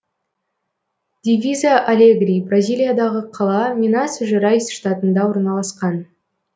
дивиза алегри бразилиядағы қала минас жерайс штатында орналасқан